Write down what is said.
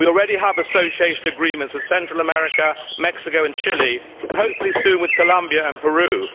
We already have association agreements with Central America, Mexico and Chile, and hopefully soon with Colombia and Peru.